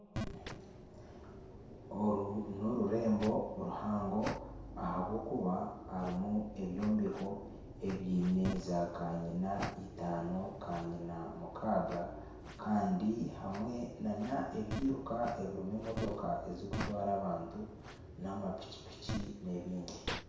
Oru n'orurembo ruhango ahabw’okuba harimu ebyombeko ebyine za kanyina itaano kanyina mukaaga kandi hamwe na n'ebyiruka ebirimu emotooka ezikutwara abantu n'amapiki piki n'ebindi.